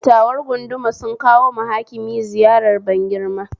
Dattawar gunduma sun kawoma Hakima ziyarar ban girma